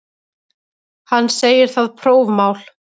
Hann segir það prófmál.